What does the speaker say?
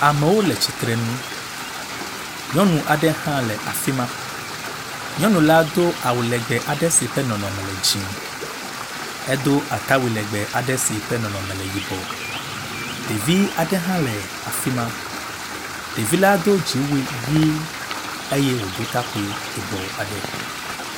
Amewo le tsitre nu. Nyɔnu aɖe hã le afi ma. Nyɔnu la do awu legbe aɖe si ƒe nɔnɔme le dzie. Edo atawui legbe aɖe si ƒe nɔnɔme le yibɔ. Ɖevi aɖe hã le afi ma. Ɖevi la do dziwui ʋi eye wodo takpui yibɔ.